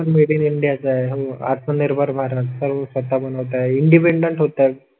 Made in India आहे हो आत्मनिर्भर भारत सर्व स्वतः बनवत आहे. इंडिपेंडेंट होतात.